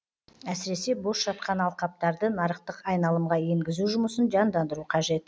әсіресе бос жатқан алқаптарды нарықтық айналымға енгізу жұмысын жандандыру қажет